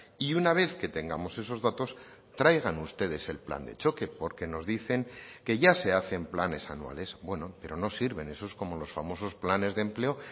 y una vez que tengamos esos datos traigan ustedes el plan de choque porque nos dicen que ya se hacen planes anuales bueno pero no sirven esos como los famosos planes de empleo